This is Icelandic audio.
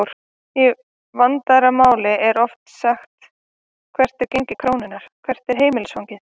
Í vandaðra máli er þó sagt hvert er gengi krónunnar?, hvert er heimilisfangið?